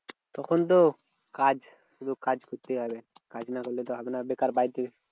তখন তো কাজ শুধু কাজ করতে হবে। কাজ না করলে তো হবে না। বেকার বাড়িতে